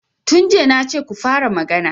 Tun jiya na ce ku fara magana!